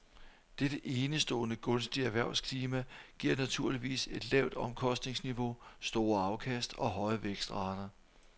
Dette enestående gunstige erhvervsklima giver naturligvis et lavt omkostningsniveau, store afkast og høje vækstrater.